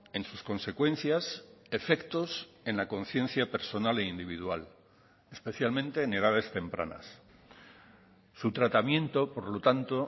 en sus consecuencias efectos en la conciencia personal e individual especialmente en edades tempranas su tratamiento por lo tanto